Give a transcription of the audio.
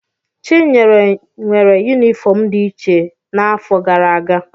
Chinyere nwere yunifọọm dị iche n'afọ gara aga.